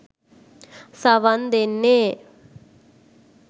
සවන් දෙන්නේ